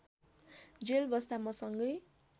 jail बस्दा मसँगै